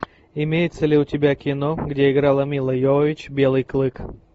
имеется ли у тебя кино где играла мила йовович белый клык